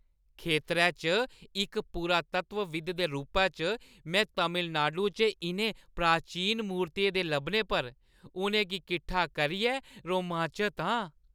खेतरै च इक पुरातत्वविद दे रूपै च, में तमिलनाडु च इʼनें प्राचीन मूर्तियें दे लब्भने पर उʼनें गी कट्ठा करियै रोमांचत हा।